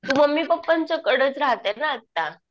तू mummy पप्पांच्या कडेच राहते ना आता.